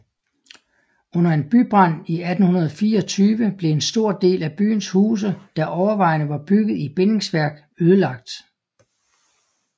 Under en bybrand i 1824 blev en stor del af byens huse der overvejende var bygget i bindingsværk ødelagt